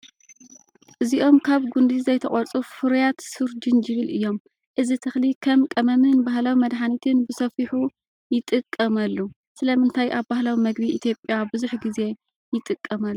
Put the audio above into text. እዚኦም ካብ ጕንዲ ዘይተቖርጹ ፍሩያት ሱር ጅንጅብል እዮም። እዚ ተኽሊ ከም ቀመምን ባህላዊ መድሃኒትን ብሰፊሑ ይጥቀመሉ። ስለምንታይ ኣብ ባህላዊ መግቢ ኢትዮጵያ ብዙሕ ግዜ ይጥቀመሉ?